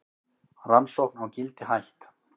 Rannsókn á Gildi hætt